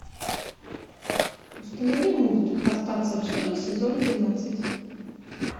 установи мульт остаться в живых сезон двенадцать